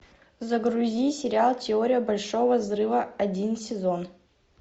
загрузи сериал теория большого взрыва один сезон